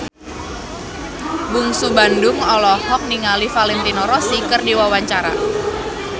Bungsu Bandung olohok ningali Valentino Rossi keur diwawancara